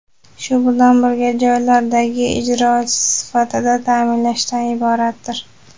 shu bilan birga joylardagi ijrochisi sifatida ta’minlashdan iboratdir.